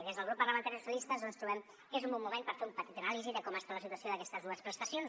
i des del grup parlamentari dels socialistes trobem que és un bon moment per fer una petita anàlisi de com està la situació d’aquestes dues prestacions